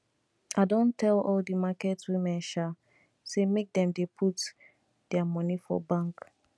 i don tell all di market women um sey make dem dey put their money for bank